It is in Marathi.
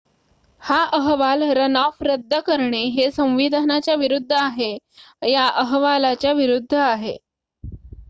हा अहवाल रनऑफ रद्द करणे हे संविधानाच्या विरूद्ध आहे या अहवालाच्या विरूद्ध आहे